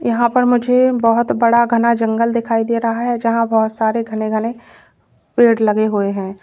यहां पर मुझे बहोत बड़ा घना जंगल दिखाई दे रहा है जहां बहोत सारे घने घने पेड़ लगे हुए हैं।